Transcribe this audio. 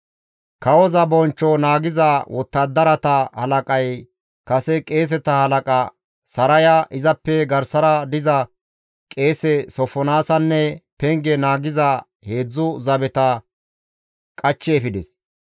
Kawoza bonchcho naagiza wottadarata halaqay kase qeeseta halaqa Saraya, izappe garsara diza qeese Sofonaasanne penge naagiza heedzdzu zabeta qachchi efides.